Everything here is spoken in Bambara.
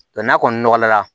n'a kɔni nɔgɔyara